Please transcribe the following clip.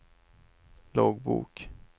loggbok